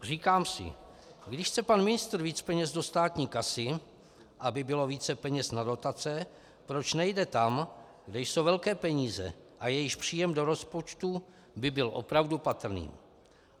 Říkám si, když chce pan ministr víc peněz do státní kasy, aby bylo více peněz na dotace, proč nejde tam, kde jsou velké peníze a jejichž příjem do rozpočtu by byl opravdu patrný.